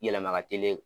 Yɛlɛma ka teli